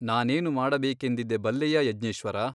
ನಾನೇನು ಮಾಡಬೇಕೆಂದಿದ್ದೆ ಬಲ್ಲೆಯಾ ಯಜ್ಞೇಶ್ವರ ?